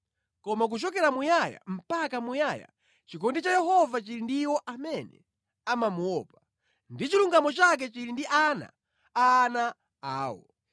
Koma kuchokera muyaya mpaka muyaya chikondi cha Yehova chili ndi iwo amene amamuopa, ndi chilungamo chake chili ndi ana a ana awo;